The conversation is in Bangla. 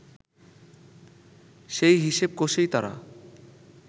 সেই হিসেব কষেই তারা